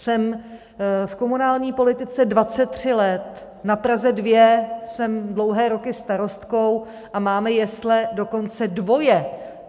Jsem v komunální politice 23 let, na Praze 2 jsem dlouhé roky starostkou a máme jesle dokonce dvoje.